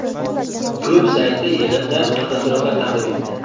Klub sayti yig‘indan fotosuratlar taqdim etdi .